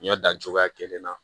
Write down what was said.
N y'a dan cogoya kelen na